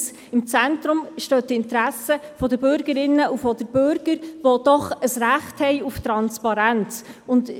Im Zentrum stehen die Interessen der Bürgerinnen und Bürger, die ein Recht auf Transparenz haben.